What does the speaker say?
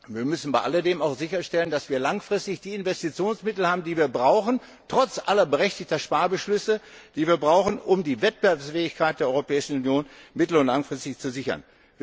Wir müssen bei alledem auch sicherstellen, dass wir langfristig die Investitionsmittel haben, die wir brauchen, trotz aller berechtigten Sparbeschlüsse, um die Wettbewerbsfähigkeit der Europäischen Union mittel und langfristig zu sichern.